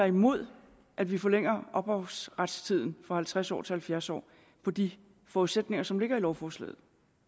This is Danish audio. imod at vi forlænger ophavsretstiden fra halvtreds år til halvfjerds år på de forudsætninger som ligger i lovforslaget